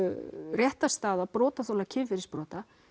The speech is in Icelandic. réttarstaða brotaþola kynferðisbrota